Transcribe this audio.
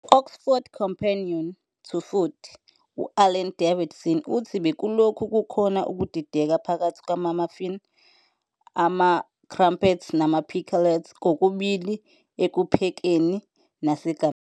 Ku- "Oxford Companion to Food", u-Alan Davidson uthi " bekulokhu kukhona ukudideka phakathi kwama-muffin, ama- crumpet, nama-pikelets, kokubili ekuphekeni nasegameni."